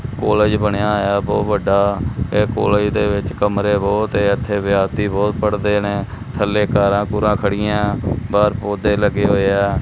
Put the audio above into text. College ਬਣਿਆ ਬਹੁਤ ਵੱਡਾ ਇਹ ਕਾਲਜ ਦੇ ਵਿੱਚ ਕਮਰੇ ਬਹੁਤ ਹੈ ਇਥੇ ਵਿਦਿਆਰਥੀ ਬਹੁਤ ਪੜਦੇ ਨੇ ਥੱਲੇ ਕਾਰਾਂ ਕੁਰਾਂ ਖੜੀਆਂ ਬਾਹਰ ਪੌਦੇ ਲੱਗੇ ਹੋਏ ਆ।